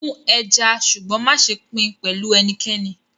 Smoke the fish but do not share it with anyone